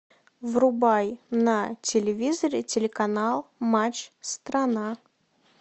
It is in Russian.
врубай на телевизоре телеканал матч страна